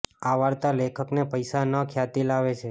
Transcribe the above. આ વાર્તા લેખક ન પૈસા ન ખ્યાતિ લાવે છે